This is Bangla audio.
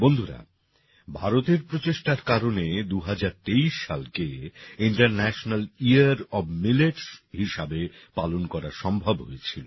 বন্ধুরা ভারতের প্রচেষ্টার কারণে ২০২৩ সালকে ইন্টারন্যাশনাল ইয়ার ওএফ মিলেটস হিসাবে পালন করা সম্ভব হয়েছিল